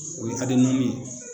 O ye ye